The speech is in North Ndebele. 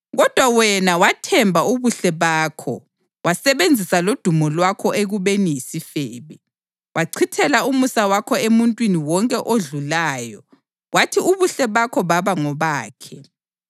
Kodwa wena wathemba ubuhle bakho wasebenzisa lodumo lwakho ekubeni yisifebe. Wachithela umusa wakho emuntwini wonke odlulayo kwathi ubuhle bakho baba ngobakhe.